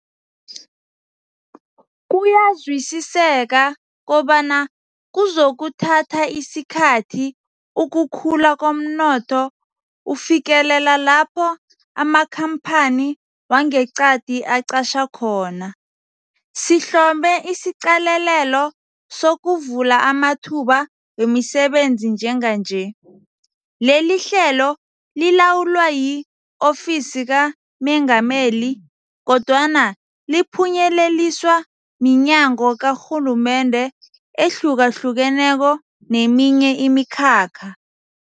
Kuyazwisiseka kobana kuzokuthatha isikhathi ukukhula komnotho ufikelela lapho amakhamphani wangeqadi aqatjha khona, sihlome isiqalelelo sokuvula amathuba wemisebenzi njenganje. Lelihlelo lilawulwa yi-Ofisi kaMengameli, kodwana liphunyeleliswa minyango karhulumende ehlukahlukeneko neminye imikhakha.